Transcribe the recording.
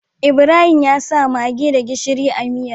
Ibrahim yasa maggi da gishiri a miyar